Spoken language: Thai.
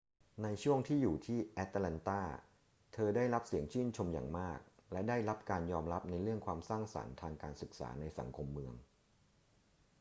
ในช่วงที่อยู่ที่แอตแลนตา เธอได้รับเสียงชื่นชมอย่างมาก และได้รับการยอมรับในเรื่องความสร้างสรรค์ทางการศึกษาในสังคมเมือง